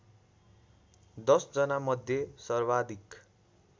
१० जनामध्ये सर्वाधिक